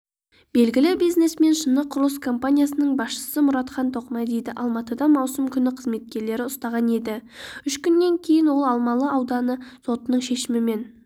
белгілі бизнесмен шыны құрылыс компаниясының басшысы мұратхан тоқмәдиді алматыда маусым күні қызметкерлері ұстаған еді үш күннен кейін ол алмалы ауданы сотының шешімімен